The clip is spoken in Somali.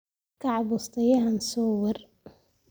Kaac bustahaaga soo waar